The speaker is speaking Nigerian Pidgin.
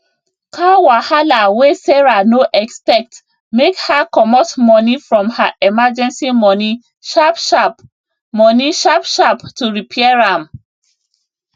car wahala wey sarah no expect make her comot money from her emergency money sharpsharp money sharpsharp to repair am